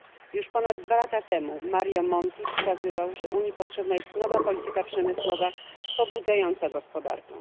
Już ponad 2 lata temu Mario Monti wskazywał, że Unii potrzebna jest nowa polityka przemysłowa pobudzająca gospodarkę.